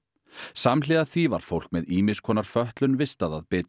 samhliða því var fólk með ýmiss konar fötlun vistað að Bitru